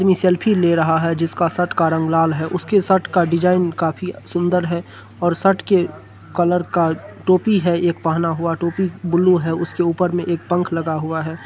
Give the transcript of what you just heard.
अपनी सेल्फी ले रहा है जिसका शर्ट का रंग लाल है। उसकी शर्ट का डिज़ाइन काफी सुन्दर है और शर्ट के कलर का टोपी है एक पहना हुआ टोपी ब्लू है उसके ऊपर में एक पंख लगा हुआ है।